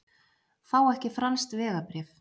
Fá ekki franskt vegabréf